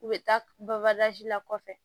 U bɛ taa la kɔfɛ